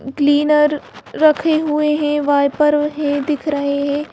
Cleaner रखे हुए हैं वाइपर है दिख रहे हैं।